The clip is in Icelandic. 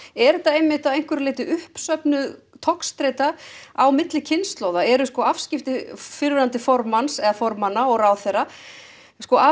er þetta að einhverju leyti uppsöfnuð togstreita á milli kynslóða eru afskipti fyrrverandi formanna formanna og ráðherra af